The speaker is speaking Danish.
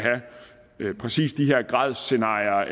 have præcis de her gradsscenarier